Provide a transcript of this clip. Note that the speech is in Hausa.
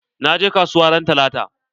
Na je kasuwa ran talata.